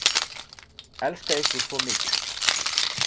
Elska ykkur svo mikið